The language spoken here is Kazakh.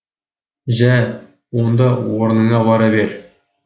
жә онда орныңа бара бер